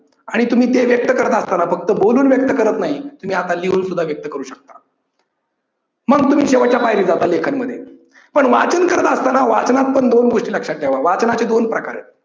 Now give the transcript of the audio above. आणि तुम्ही ते व्यक्त करत असतांना फक्त बोलून व्यक्त करत नाही, तुम्ही आता लिहून सुद्धा व्यक्त करू शकता. मग तुम्ही शेवटच्या पायरी जाता लेखन मध्ये, पण वाचन करत असतांना वाचनात पण दोन गोष्टी लक्षात ठेवा वाचनाचे दोन प्रकार आहेत.